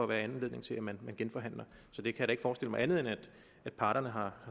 være anledning til at man genforhandlede så jeg kan ikke forestille mig andet end at parterne har